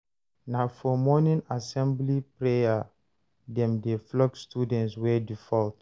Na for morning assembly prayer dem dey flog students wey default.